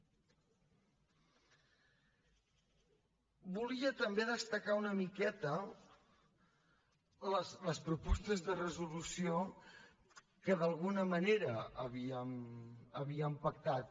volia també destacar una miqueta les propostes de resolució que d’alguna manera havíem pactat